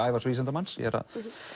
Ævars vísindamanns ég er að